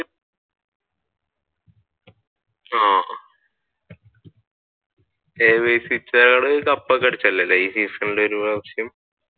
ആഹ് കപ്പൊക്കെ അടിച്ചല്ലേ ഈ സീസണിൽ ഒരു പ്രാവിശ്യം